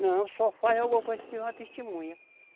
Não, só faz alguma coisa se tiver uma testemunha.